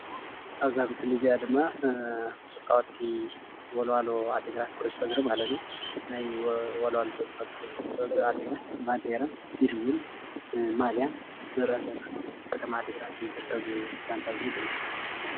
ኣብዛ ምስሊ እዚኣ ድማ ተፃወትቲ ወልዋሎ ዓዲ ግራት ኩዕሶ እግሪ ማለት እዩ፡፡ ናይ ወልዋሎ ተፃወትቲ ኩዕሱ እግሪ ዓዲ ግራት ባንዴራ ኢሉ እዉን ማልያ ንሪኢ ኣለና ኣብ ከተማ ዓዲ ግራት እዩ ዝርከብ እዚ ጋንታ እዚ ድማ፡፡